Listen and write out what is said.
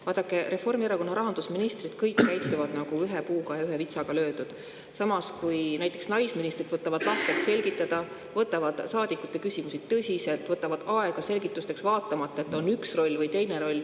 Vaadake, Reformierakonna rahandusministrid käituvad kõik nagu ühe vitsaga löödult, samas kui näiteks naisministrid võtavad lahkelt selgitada, võtavad saadikute küsimusi tõsiselt, võtavad aega selgitusteks, vaatamata, mis on üks roll või teine roll.